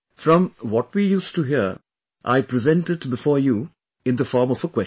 From what we used to hear, I present it before you in the form of a question